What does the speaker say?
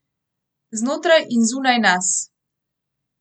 Znotraj in zunaj nas.